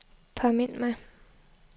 påmind mig